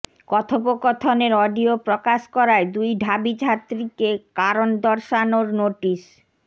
কথোপকথনের অডিও প্রকাশ করায় দুই ঢাবি ছাত্রীকে কারণ দর্শানোর নোটিশ